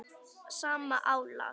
sama álag?